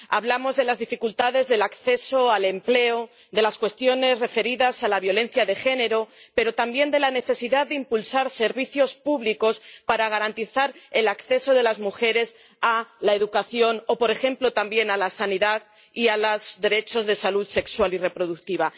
Hablamos de las dificultades de acceso al empleo, de las cuestiones referidas a la violencia de género, pero también de la necesidad de impulsar servicios públicos para garantizar el acceso de las mujeres a la educación o, por ejemplo, también a la sanidad y a los derechos de salud sexual y reproductiva.